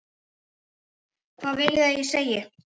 Hvað viljiði að ég segi?